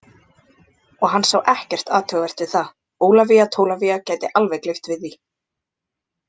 Og hann sá ekkert athugavert við það, Ólafía Tólafía gæti alveg gleypt við því.